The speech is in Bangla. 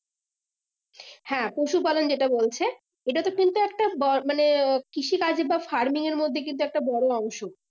হ্যাঁ পশু পালন যেটা বলছে এটাতে কিন্তু একটা ব মানে কৃষি কাজ বা farming এর মধ্যে একটা বড়ো অংশ